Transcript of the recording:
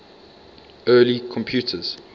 early computers